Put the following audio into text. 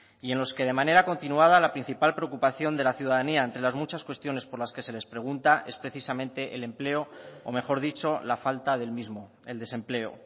y en los que de manera continuada la principal preocupación de la ciudadanía entre las muchas cuestiones por las que se les pregunta es precisamente el empleo o mejor dicho la falta del mismo el desempleo